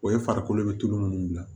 O ye farikolo be tulu munnu bila